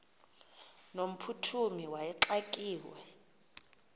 no mphuthumi wayexakiwe